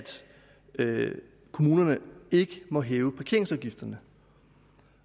kommunerne ikke må hæve parkeringsafgifterne